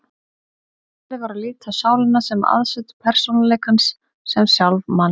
Farið var að líta á sálina sem aðsetur persónuleikans, sem sjálf manns.